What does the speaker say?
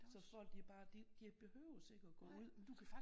Så folk de bare de behøves ikke at gå ud